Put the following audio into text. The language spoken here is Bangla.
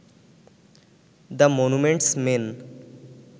the monuments main